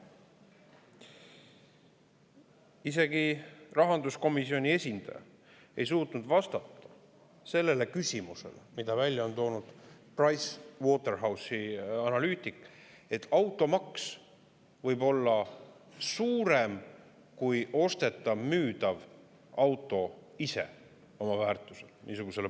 Isegi rahanduskomisjoni esindaja ei suutnud vastata küsimusele või niisugusele paradoksile, mille on välja toonud Pricewaterhousei analüütik, et automaks võib olla suurem, kui ostetav või müüdav auto ise oma väärtuselt on.